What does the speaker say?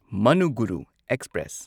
Manuguru express